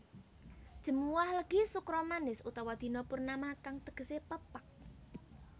Jemuwah Legi Sukra Manis utawa Dina Purnama kang tegesé pepak